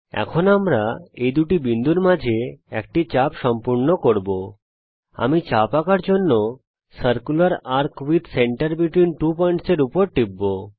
এখন আমরা এই দুটো বিন্দুর মাঝে একটি চাপ সম্পূর্ণ করব আমি চাপ আঁকার জন্যে circular arc with centre between two points এর উপর টিপব